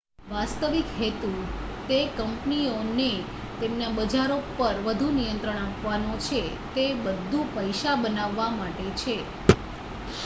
વાસ્તવિક હેતુ તે કંપનીઓને તેમના બજારો પર વધું નિયંત્રણ આપવાનો છે તે બધું પૈસા બનાવવાં માટે છે